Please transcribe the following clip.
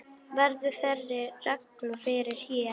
Verður þeirri reglu fylgt hér.